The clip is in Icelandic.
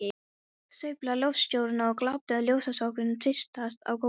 Sveiflaði loftljósinu og glápti á ljósrákirnar tvístrast á gólfinu.